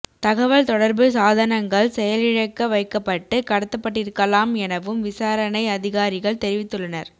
தகவல் தொடர்பு சாதனங்கள் செயலிழக்க வைக்கப்பட்டு கடத்தப்பட்டிருக்கலாம் எனவும் விசாரணை அதிகாரிகள் தெரிவித்துள்ளனர்